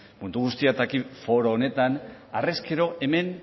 mundu guztiak daki foro honetan harrezkero hemen